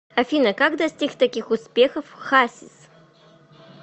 афина как достиг таких успехов хасис